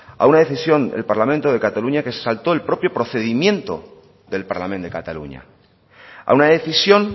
a una decisión del parlamento de cataluña que se saltó el procedimiento del parlament de catalunya a una decisión